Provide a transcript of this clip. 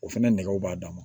O fɛnɛ nɛgɛw b'a dan ma